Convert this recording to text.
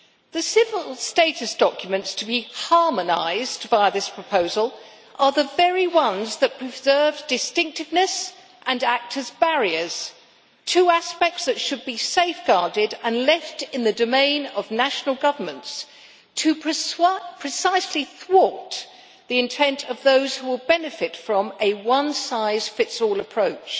The civil status documents to be harmonised' via this proposal are the very ones that preserve distinctiveness and act as barriers, two aspects that should be safeguarded and left in the domain of national governments, precisely to thwart the intent of those who will benefit from a one-size-fits-all approach.